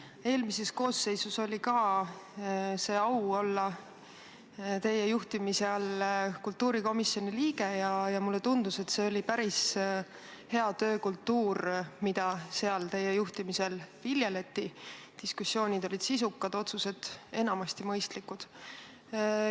Mul oli eelmises koosseisus au olla teie juhtimise all kultuurikomisjoni liige ja mulle tundus, et teie juhtimisel viljeleti seal päris head töökultuuri – diskussioonid olid sisukad, otsused enamasti mõistlikud.